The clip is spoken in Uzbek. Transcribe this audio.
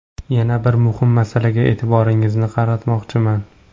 Yana bir muhim masalaga e’tiboringizni qaratmoqchiman.